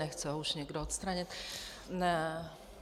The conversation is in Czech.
Nechce ho už někdo odstranit?